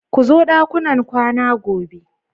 Ku zo ɗakunan kwana gobe.